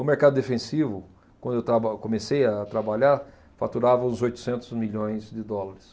O mercado defensivo, quando eu traba, comecei a trabalhar, faturava uns oitocentos milhões de dólares.